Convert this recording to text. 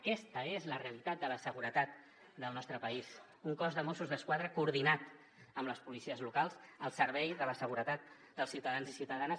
aquesta és la realitat de la seguretat del nostre país un cos de mossos d’esquadra coordinat amb les policies locals al servei de la seguretat dels ciutadans i ciutadanes